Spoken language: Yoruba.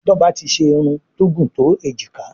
Toba tí ṣe Irun tó gún to ejika.